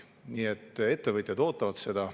Nii et ettevõtjad ootavad seda.